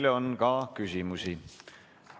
Teile on ka küsimusi.